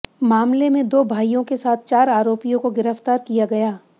मामले में दो भाइयों के साथ चार आरोपियों को गिरफ्तार किया गया